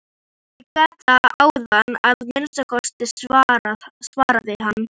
Ég gat það áðan að minnsta kosti, svaraði hann.